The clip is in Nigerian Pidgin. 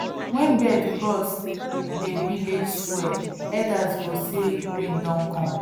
wen birds cross dey village square elders go say rain don come